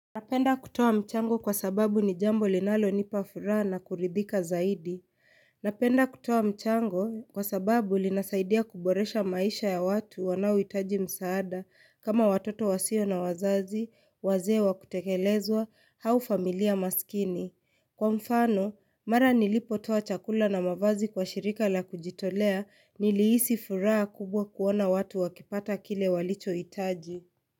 Napenda kutoa mchango kwa sababu ni jambo linalo nipa furaha na kuridhika zaidi. Napenda kutoa mchango kwa sababu linasaidia kuboresha maisha ya watu wanao hitaji msaada kama watoto wasio na wazazi, waze kutekelezwa, hau familia maskini. Kwa mfano, mara nilipo toa chakula na mavazi kwa shirika la kujitolea nilihisi furaha kubwa kuona watu wakipata kile walicho hitaji.